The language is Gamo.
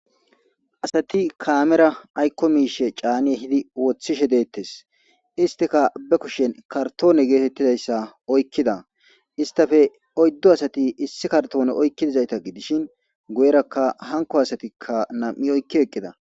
Asati kaamera aykko miishe caani ehidi wothishe deettes. Istika ba kushen kartoone geetettidayssa oykkida istafe oyddu asati issi kartoone oykkidizayta gidishin guyerakka hankko asatikka nam7i oykki eqqida.